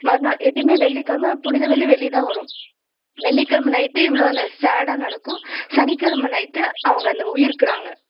மறுநாள் எப்பயுமே வெள்ளிக்கிழமை புனித வெள்ளி வெள்ளிதான் வரும் வெள்ளிக்கிழமை night இவ்வளவு நான் sad ஆ நடக்கும் சனிக்கிழமை night அவங்க அந்த உயிர்க்கிறாங்க